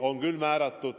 On küll määratud.